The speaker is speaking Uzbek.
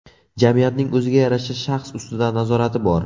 Jamiyatning o‘ziga yarasha shaxs ustidan nazorati bor.